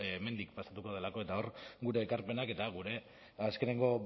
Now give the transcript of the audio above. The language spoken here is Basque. hemendik pasatuko delako eta hor gure ekarpenak eta gure azkeneko